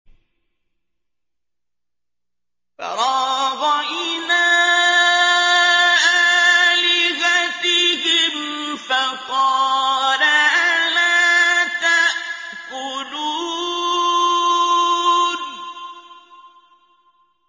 فَرَاغَ إِلَىٰ آلِهَتِهِمْ فَقَالَ أَلَا تَأْكُلُونَ